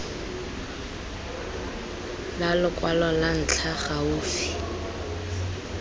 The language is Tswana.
la lokwalo lwa ntlha gaufi